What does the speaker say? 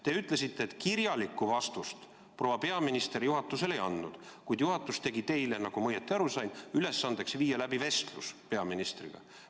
Te ütlesite, et kirjalikku vastust proua peaminister juhatusele ei ole andnud, kuid juhatus tegi teile, kui ma õigesti aru sain, ülesandeks viia läbi vestlus peaministriga.